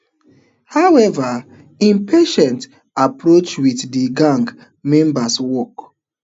however im patient approach wit di gang members work